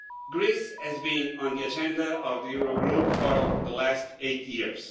Greece has been on the agenda of the Eurogroup for the last eight years.